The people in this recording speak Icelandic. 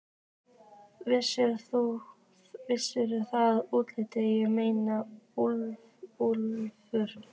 Veistu það, Úlli, ég meina Úlfur.